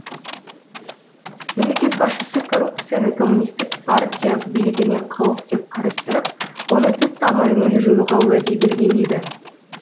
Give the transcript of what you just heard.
мемлекет басшысы коррупцияны коммунистік партия билігіне қауіп деп қарастырып оны түп тамырымен жоюға уәде берген еді